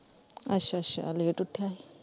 ਅੱਛਾ ਅੱਛਾ late ਉਠਿਆ ਸੀ।